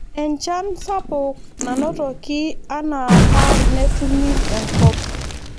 Enchan sapuk nanotoki anaapa netumi enkop.